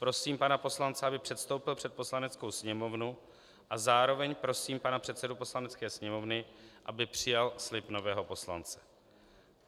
Prosím pana poslance, aby předstoupil před Poslaneckou sněmovnu, a zároveň prosím pana předsedu Poslanecké sněmovny, aby přijal slib nového poslance.